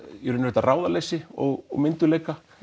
þetta ráðaleysi og myndugleika